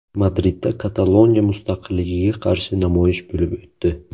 Madridda Kataloniya mustaqilligiga qarshi namoyish bo‘lib o‘tdi.